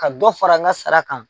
Ka dɔ fara n ka sara kan.